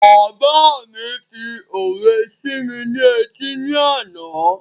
Bàbá mi fi òwe sí mi ní etí ni àná